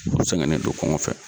U sɛgɛnen do kɔngɔ fɛ.